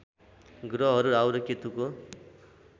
ग्रहहरू राहु र केतुको